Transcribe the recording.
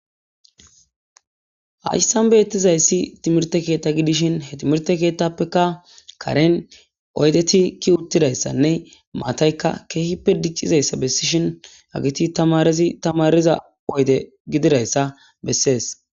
hasissan beyettizayssi timirte keetta gidishin he timirte keettappeka karen oydetikki uttidayssanne maataykka keehippe diccizayssa bessishin agiti tamarizi tamariza oyde gididayssa bessees